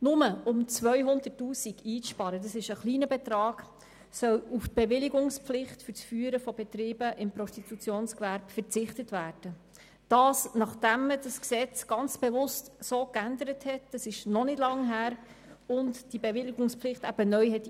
Nur um 200 000 Franken einzusparen – das ist ein kleiner Betrag –, soll auf die Bewilligungspflicht für das Führen von Betrieben im Prostitutionsgewerbe verzichtet werden, nachdem man das Gesetz bewusst geändert und die Bewilligungspflicht neu eingeführt hatte.